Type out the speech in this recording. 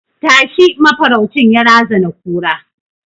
Tashi! mafaraucin ya razana kura